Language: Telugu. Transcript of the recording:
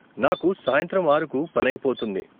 నాకు సాయంత్రం ఆరుకు పని అయిపోతుంది.